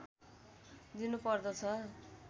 दिनु पर्दछ